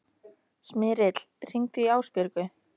Smyrill, hringdu í Ásbjörgu.